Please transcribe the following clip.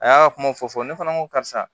A y'a kuma fɔ fɔ ne fana ko karisa